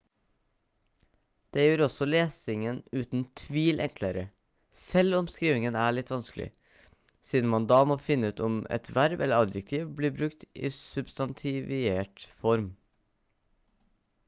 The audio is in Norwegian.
det gjør også lesingen uten tvil enklere selv om skrivingen er litt vanskelig siden man da må finne ut om et verb eller adjektiv blir brukt i substantivert form